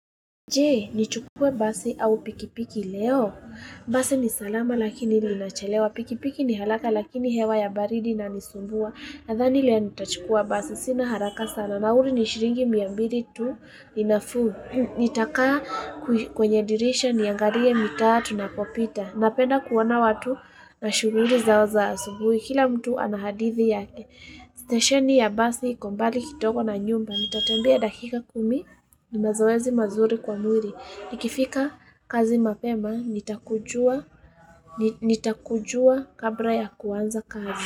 Jee, ni chukue basi au pikipiki leo. Basi ni salama lakini linachelewa. Pikipiki ni halaka lakini hewa ya baridi na nisumbua. Nathani leo nitachukua basi. Sina haraka sana. Nauri ni shiringi miambiri tu. Ninafuu. Nitakaa kwenye dirisha niangarie mitaa tu na popita. Napenda kuona watu na shughuri zao za asubui. Kila mtu anahadithi yake. Stesheni ya basi iko mbali kidogo na nyumba. Nitatembea dakika kumi ni mazoezi mazuri kwa mwiri. Nikifika kazi mapema, nitakujua kabla ya kuanza kazi.